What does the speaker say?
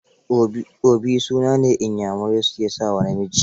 Obi suna ne da Inyamurai su ke sa wa namiji.